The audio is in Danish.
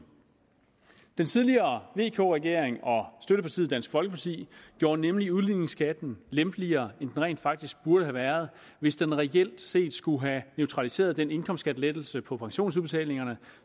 den tidligere vk regering og støttepartiet dansk folkeparti gjorde nemlig udligningsskatten lempeligere end den rent faktisk burde have været hvis den reelt set skulle have neutraliseret den indkomstskattelettelse på pensionsudbetalingerne